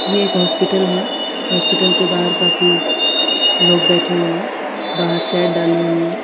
एक हॉस्पिटल है हॉस्पिटल के बाहर काफी लोग बैठे हुए हैं बाहर शेड डाली हुई है।